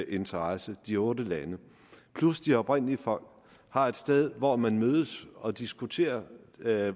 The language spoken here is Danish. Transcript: interesse de otte lande plus de oprindelige folk har et sted hvor man mødes og diskuterer